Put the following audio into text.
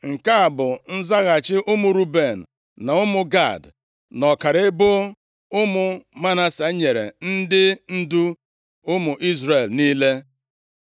Nke a bụ nzaghachi ụmụ Ruben, na ụmụ Gad na ọkara ebo ụmụ Manase, nyere ndị ndu ụmụ Izrel niile;